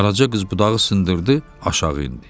Qaraca qız budağı sındırdı, aşağı indi.